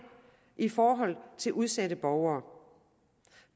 i forhold til udsatte borgere